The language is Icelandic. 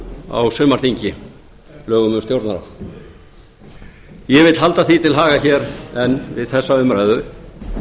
á sumarþingi lögum um stjórnarráðið ég vil halda því til haga hér enn við þessa umræðu